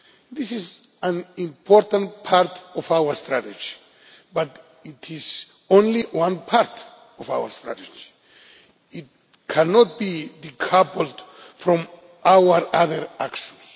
this is an important part of our strategy, but it is only one part of our strategy. It cannot be decoupled from our other actions.